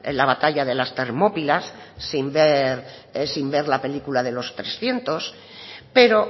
la batalla de las termópilas sin ver sin ver la película de los trescientos pero